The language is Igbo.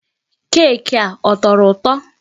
Keeki a, ọ tọrọ ụtọ?